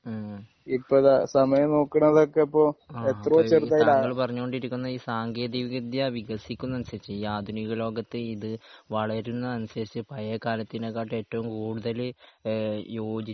ഹ്മ് അഹ് താങ്കൾ പറഞ്ഞു കൊണ്ടിരിക്കുന്നത് ഈ സാങ്കേന്തിക വിദ്യ വികസിക്കുന്നതിന് അനുസരിച്ച് ഈ ആധുനിക ലോകത്ത് ഈ ഇത് വളരുന്നതിന് അനുസരിച്ച് പഴയ കാലത്തിനേക്കാളും ഏറ്റവും കൂടുതല് ഏഹ് യോജിച്ച്